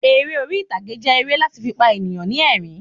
Eré orítagé jẹ èrè lati fi pa eniyan ni ẹ̀rín